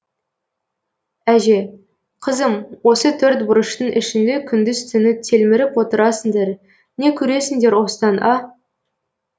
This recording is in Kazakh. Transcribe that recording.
әже қызым осы төрт бұрыштың ішіне күндіз түні телміріп отырасыңдар не көресіңдер осыдан а